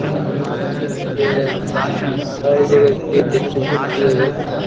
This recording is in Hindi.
डिस्ट्रीब्यूट किया जाता है |